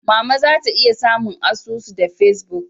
Mama zan iya samun asusu da Facebook?